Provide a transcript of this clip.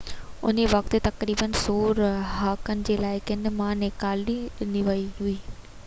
ان وقت تي تقريبن 100 رهاڪن کي علائقي مان نيڪالي ڏني وئي هئي